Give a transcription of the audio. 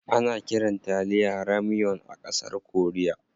Ana kiran taliya "ramyeon" a ƙasar korea.